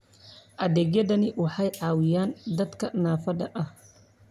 Adeegyadani waxay caawiyaan dadka naafada ah.